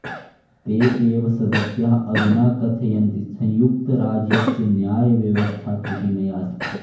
ते एव सदस्याः अधुना कथयन्ति संयुक्तराज्यस्य न्यायव्यवस्था त्रुटिमया अस्ति